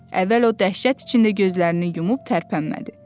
Əvvəl o dəhşət içində gözlərini yumub tərpənmədi.